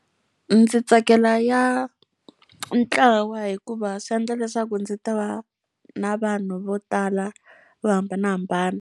Ndzi tsakela ya ntlawa hikuva swi endla leswaku ndzi ta va na vanhu vo tala vo hambanahambana.